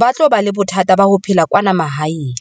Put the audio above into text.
ba tlo ba le bothata ba ho phela kwana mahaeng.